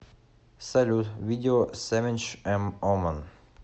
салют видео севинч эм омон